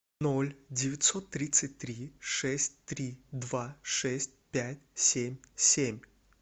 ноль девятьсот тридцать три шесть три два шесть пять семь семь